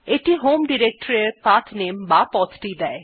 এটি home directory এর পাঠনামে বা পথটি দেয়